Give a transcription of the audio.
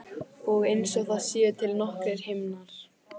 Og einsog það séu til nokkrir himnar.